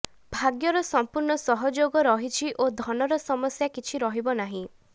ଭାଗ୍ୟର ସମ୍ପୂର୍ଣ୍ଣ ସହଯୋଗ ରହିଛି ଓ ଧନର ସମସ୍ୟା କିଛି ରହିବ ନାହିଁ